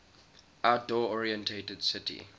outdoor oriented city